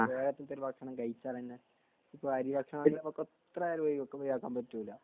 കേരളത്തിൽത്തെ ഒരു ഭക്ഷണം കഴിച്ചാൽ തന്നെ ഇപ്പൊ അരി ഭക്ഷണം ആണെങ്കിലും നമുക്ക് ഒഴിവാക്കാൻ പറ്റൂല